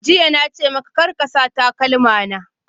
Jiya na ce maka, Kar ka sa takalma na!